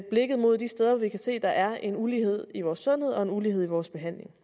blikket mod de steder vi kan se der er en ulighed i vores sundhed og en ulighed i vores behandling